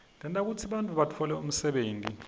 tenta kutsi bantfu batfole umsebenti